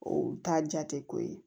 O t'a jate ko ye